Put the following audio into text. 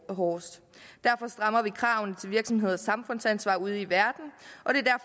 hårdest derfor strammer vi kravene til virksomhedernes samfundsansvar ude i verden